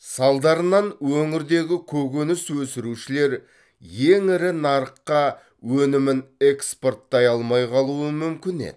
салдарынан өңірдегі көкөніс өсірушілер ең ірі нарыққа өнімін экспорттай алмай қалуы мүмкін еді